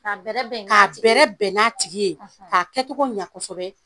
Ka bɛrɛbɛn n'a tigi ye k'a kɛcogo ɲa kɔsɛbɛ.